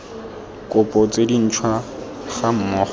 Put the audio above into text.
kopo tse dintšhwa ga mmogo